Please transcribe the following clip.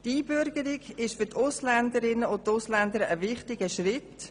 Die Einbürgerung ist für die Ausländer und Ausländerinnen ein wichtiger Schritt.